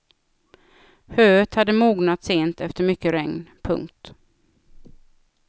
Höet hade mognat sent efter mycket regn. punkt